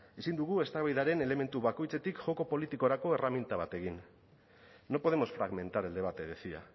ezin dugu eztabaidaren elementu bakoitzetik joko politikorako erraminta bat egin no podemos fragmentar el debate decía